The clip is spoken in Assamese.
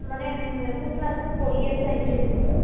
মানে উম কোন class ত পঢ়ি আছা সেইটো সুধিছো ?